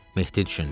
Mehdi düşündü.